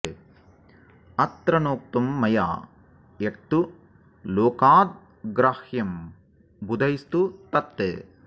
अत्र नोक्तं मया यत्तु लोकाद् ग्राह्यं बुधैस्तु तत्